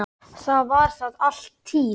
Það var þar alla tíð.